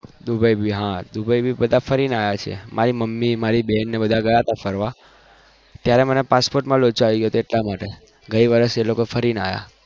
Dubai પણ ફરી ને આવ્યા છે મારી મમ્મી બેન ને બધા ગયા હય ત્યારે મારે passport નો લોચો હતો